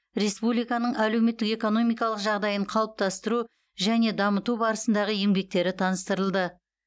республиканың әлеуметтік экономикалық жағдайын қалыптастыру және дамыту барысындағы еңбектері таныстырылды